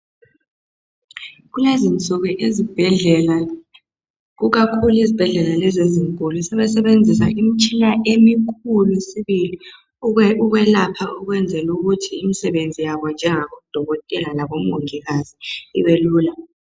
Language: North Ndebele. Kulezinsuku izibhedlela ikakhulu izibhedlela lezi zinkulu sebesebenzisa imitshina emikhulu sibili ukwelapha ukwenzela ukuthi imisebenzi yabo njengabo dokotela labo mongikazi ibe lula